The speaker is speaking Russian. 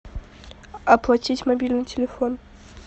оплатить мобильный телефон